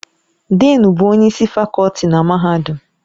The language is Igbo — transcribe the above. Dịịn bụ onye isi fakọlti na mahadum.